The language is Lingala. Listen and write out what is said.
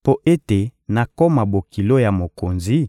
mpo ete nakoma bokilo ya mokonzi?